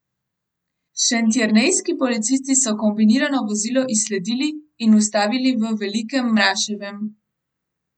Šentjernejski policisti so kombinirano vozilo izsledili in ustavili v Velikem Mraševem.